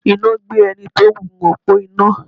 Iná gbé ẹni tí ó gun òpó iná.